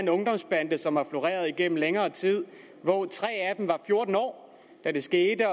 en ungdomsbande som har floreret igennem længere tid tre af dem var fjorten år da det skete at